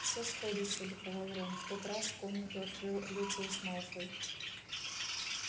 все сходится ликовал рон в тот раз комнату открыл люциус малфой